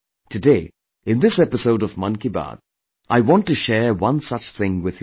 Today, in this episode of Mann Ki Baat, I want to share one such thing with you